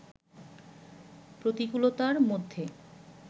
প্রতিকূলতার মধ্যে